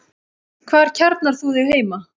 Hvar kjarnar þú þig heima?